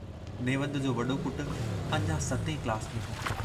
नेवंद जो वॾो पुटु अञां सतें क्लास में हो।